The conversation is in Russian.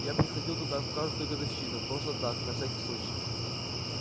я приходил туда в каждую годовщину просто так на всякий случай